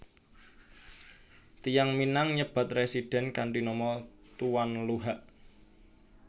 Tiyang Minang nyebat residen kanthi nama Tuan Luhak